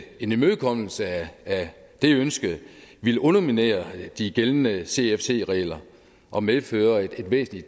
en imødekommelse af det ønske ville underminere de gældende cfc regler og medføre et væsentlig